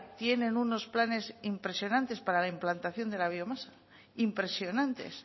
tienen unos planes impresionantes para la implantación de la biomasa impresionantes